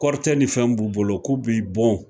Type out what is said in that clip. Kɔritɛ ni fɛnw b'u bolo k'u b'i bon